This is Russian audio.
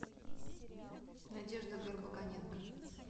надежда горбоконенко